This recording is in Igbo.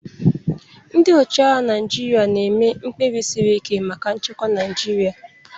Ndị ọchịagha Naịjirịa na-eme mkpebi siri ike maka nchekwa Naịjirịa.